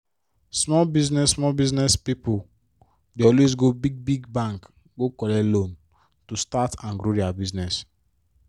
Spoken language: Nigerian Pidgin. small business small business pipo dey always go big-big bank go collect loan to start and grow dia business.